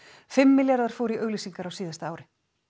fimm milljarðar fóru í auglýsingar á síðasta ári